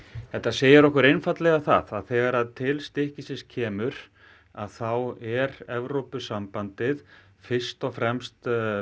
þetta segir okkur einfaldlega það að þegar til stykkisins kemur þá er Evrópusambandið fyrst og fremst